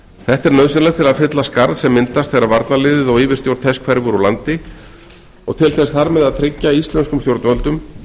er nauðsynlegt til að fylla skarð sem myndast þegar varnarliðið og yfirstjórn þess hverfur úr landi og til þess þar með að tryggja íslenskum stjórnvöldum